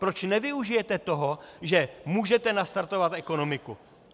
Proč nevyužijete toho, že můžete nastartovat ekonomiku?